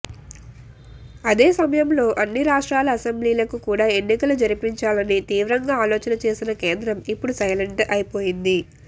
అదే సమయంలో అన్ని రాష్ట్రాల అసెంబ్లీలకు కూడా ఎన్నికలు జరిపించాలని తీవ్రంగా ఆలోచన చేసిన కేంద్రం ఇప్పుడు సైలెంట్ అయ్యిపోయింది